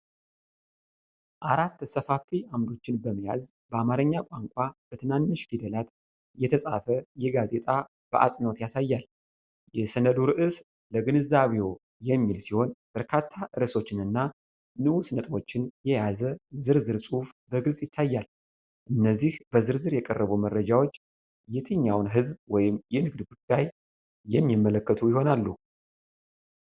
አራት ሰፋፊ ዓምዶችን በመያዝ፣ በአማርኛ ቋንቋ በትናንሽ ፊደላት የተጻፈ የጋዜጣ በአጽንዖት ያሳያል። የሰነዱ ርዕስ "ለግንዛቤዎ" የሚል ሲሆን፤ በርካታ ርዕሶችንና ንዑስ ነጥቦችን የያዘ ዝርዝር ጽሑፍ በግልጽ ይታያል። እነዚህ በዝርዝር የቀረቡ መረጃዎች የትኛውን የሕዝብ ወይም የንግድ ጉዳይ የሚመለከቱ ይሆናሉ?